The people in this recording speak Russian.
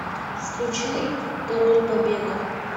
включай король побега